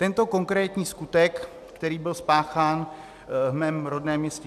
Tento konkrétní skutek, který byl spáchán v mém rodném městě